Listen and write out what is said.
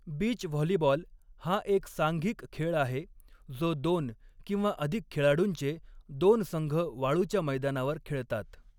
Beach volleyball हा एक सांघिक खेळ आहे, जो दोन किंवा अधिक खेळाडूंचे दोन संघ वाळूच्या मैदानावर खेळतात.